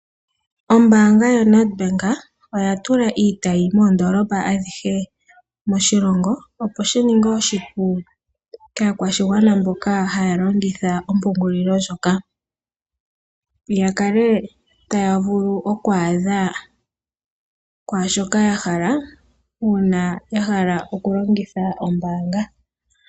Ombaanga yo Nedbank oya tula iitayi moondoolopa adhihe moshilongo opo shi ninge oshipu kaa kwashigwana mboka haya longitha ompungulilo ndjoka. Ya kale taya vulu oku adha kwaashoka ya hala uuna ya hala oku longitha ombaanga.